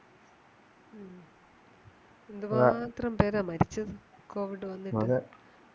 എന്തുമാത്രം പേരാ മരിച്ചേ covid വന്നിട്ടു അതെ